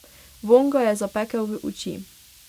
Vonj ga je zapekel v oči.